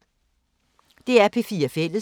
DR P4 Fælles